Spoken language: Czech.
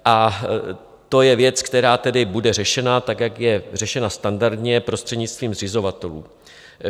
A to je věc, která tedy bude řešena, tak jak je řešena standardně prostřednictvím zřizovatelů.